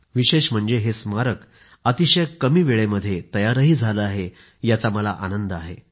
विशेष म्हणजे हे स्मारक अतिशय कमी वेळेमध्ये तयारही झालं आहे याचा मला आनंद आहे